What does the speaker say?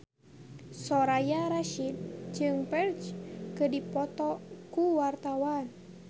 Soraya Rasyid jeung Ferdge keur dipoto ku wartawan